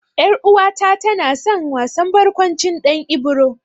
Ƴar'uwata na san wasan barƙwancin Ɗan Ibro.